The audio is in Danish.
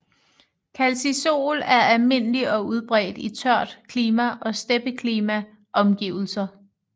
Calcisol er almindelig og udbredt i tørt klima og steppeklima omgivelser